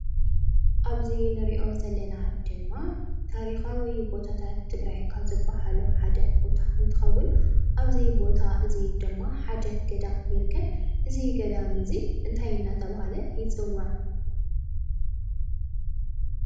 ኣብዚ ንሪኦ ዘለና ድማ ታሪካዊ ቦታታት ትግራይ ካብ ዝበሃሉ ሓደ ቦታ እንትከውን፣ ኣብ እዚ ቦታ እዚ ድማ ሓደ ገዳም ይርከብ። እዚ ገዳም እዚ እንታይ እናተብሃለ ይፅዋዕ?